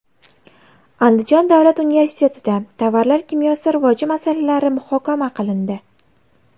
Andijon davlat universitetida tovarlar kimyosi rivoji masalalari muhokama qilindi.